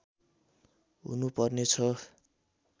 हुनु पर्ने छ